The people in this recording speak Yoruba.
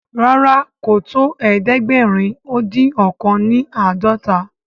ràrá kò tó ẹdẹgbẹrin odin ọkan ni ãdọta.